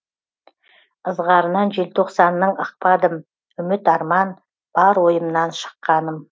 ызғарынан желтоқсанның ықпадым үміт арман бар ойымнан шыққаным